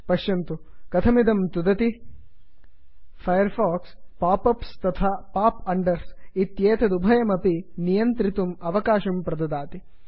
पश्यन्तु कथमिदं तुदति160 फैर् फाक्स् पाप् अप्स् तथा पाप् अण्डर्स् इत्येतदुभयमपि नियन्त्रितुम् अवकाशं प्रददाति